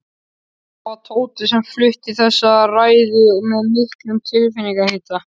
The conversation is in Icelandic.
Það var Tóti sem flutti þessa ræðu með miklum tilfinningahita.